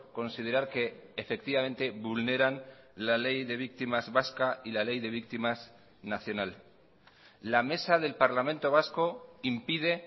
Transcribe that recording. considerar que efectivamente vulneran la ley de víctimas vasca y la ley de víctimas nacional la mesa del parlamento vasco impide